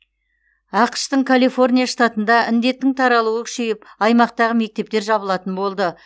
ақш тың калифорния штатында індеттің таралуы күшейіп аймақтағы мектептер жабылатын болды